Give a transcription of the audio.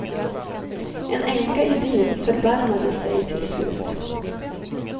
En änka i byn förbarmade sig till slut.